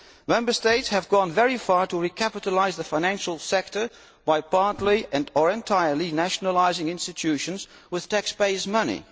Member States have gone very far to recapitalise the financial sector by partly and or entirely nationalising institutions with taxpayers' money.